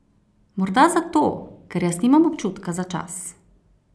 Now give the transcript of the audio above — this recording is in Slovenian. Bog: ''Morda zato, ker jaz nimam občutka za čas.